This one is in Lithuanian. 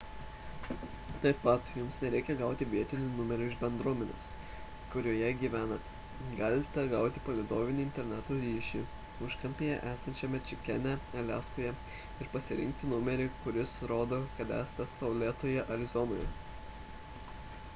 taip pat jums nereikia gauti vietinio numerio iš bendruomenės kurioje gyvenate galite gauti palydovinį interneto ryšį užkampyje esančiame čikene aliaskoje ir pasirinkti numerį kuris nurodo kad esate saulėtoje arizonoje